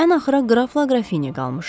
Ən axıra qrafla qrafini qalmışdı.